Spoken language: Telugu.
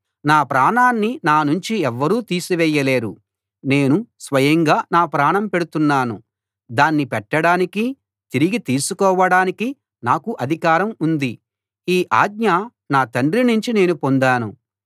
నా ప్రాణాన్ని నానుంచి ఎవ్వరూ తీసివేయలేరు నేను స్వయంగా నా ప్రాణం పెడుతున్నాను దాన్ని పెట్టడానికి తిరిగి తీసుకోవడానికి నాకు అధికారం ఉంది ఈ ఆజ్ఞ నా తండ్రి నుంచి నేను పొందాను